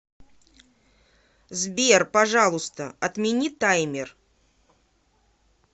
сбер пожалуйста отмени таймер